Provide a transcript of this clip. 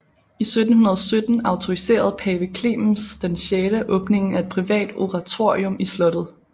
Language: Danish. I 1717 autoriserede Pave Clemens XI åbningen af et privat oratorium i slottet